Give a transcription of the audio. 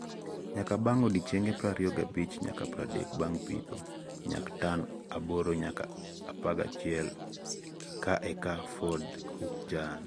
Nyak bang odiochienge prariyo gabich nyaka pradek bang pitho- Nyak: tan aboro nyaka apagachiel ka eka Ford Hook Giant